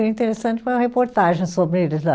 interessante uma reportagem sobre eles lá.